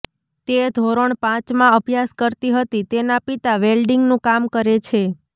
તે ધોરણ પાંચમાં અભ્યાસ કરતી હતી તેના પિતા વેલ્ડીંગનું કામ કરે છે